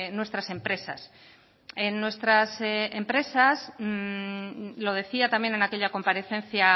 nuestras empresas en nuestras empresas lo decía también en aquella comparecencia